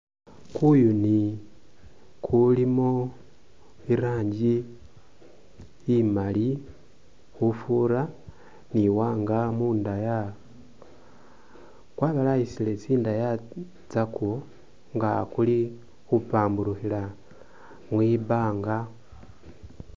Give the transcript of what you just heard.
Kuyuni kulimo i rangi imali khufura ni iwanga mundaya, kwabalayisile tsindaya tsakwo nga kuli khupamburukhila mwibanga.